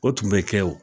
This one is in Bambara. O tun bɛ kɛ wo